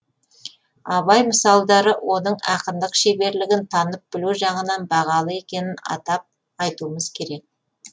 абай мысалдары оның ақындық шеберлігін танып білу жағынан бағалы екенін атап айтуымыз керек